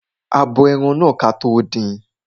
A bo ẹran kí a tó din.